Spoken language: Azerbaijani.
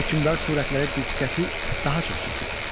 Hökmdar surətləri diqqəti daha çox çəkir.